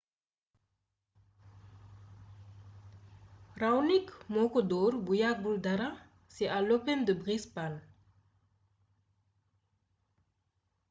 raonic moo ko dóor bu yàggul dara ci à l'open de brisbane